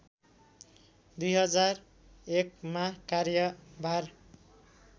२००१ मा कार्यभार